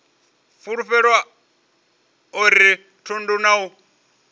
fulufhelo a uri thundu na